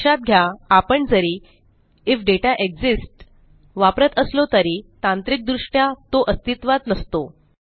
लक्षात घ्या आपण जरी आयएफ दाता एक्सिस्ट्स वापरत असलो तरी तांत्रिक दृष्ट्या तो अस्तित्वात नसतो